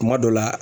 Kuma dɔ la